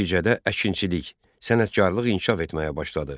Nəticədə əkinçilik, sənətkarlıq inkişaf etməyə başladı.